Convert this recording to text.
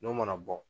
N'o mana bɔ